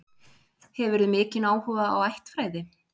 Hefurðu mikinn áhuga á ættfræði?